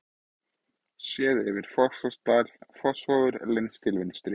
Séð yfir Fossvogsdal, Fossvogur lengst til vinstri.